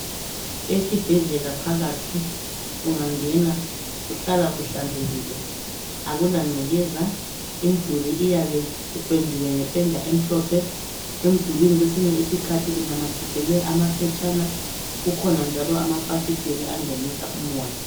Esibhedlela phakathi ungangena kuhlala kuhlanzekile akula ngcekeza, imduli iyabe ipendiwe ngependa emhlophe. Emdulini kwesinye isikhathi kunamathiselwe amaphetshana kukhona njalo amafasiteli angenisa umoya.